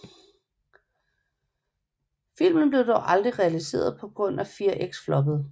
Filmen blev dog aldrig realiseret på grund af Fear X floppede